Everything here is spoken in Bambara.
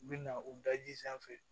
U bɛ na u daji sanfɛ